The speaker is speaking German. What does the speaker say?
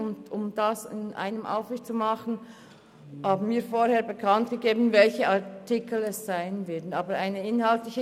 Um das konzentrierter zu tun, haben wir zu Beginn bekannt gegeben, um welche Artikel es sich handelt.